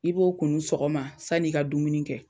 I b'o kunu sɔgɔma san'i ka dumuni kɛ